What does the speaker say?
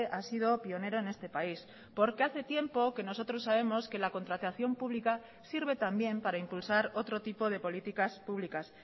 ha sido pionero en este país porque hace tiempo que nosotros sabemos que la contratación pública sirve también para impulsar otro tipo de políticas públicas